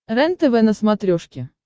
рентв на смотрешке